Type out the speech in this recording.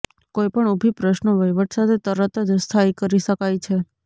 કોઈપણ ઊભી પ્રશ્નો વહીવટ સાથે તરત જ સ્થાયી કરી શકાય છે